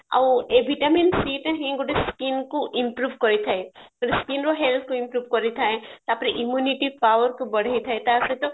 ଆଉ ଏଇ vitamin c ଟା ହିଁ ଗୋଟେ skin କୁ improve କରିଥାଏ ଗୋଟେ skinର କୁ improve କରିଥାଏ ତାପରେ immunity powerକୁ ବଢେଇଥାଏ ଟା ସହିତ